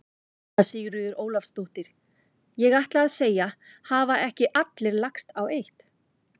Anna Sigríður Ólafsdóttir: Ég ætlaði að segja: Hafa ekki allir lagst á eitt?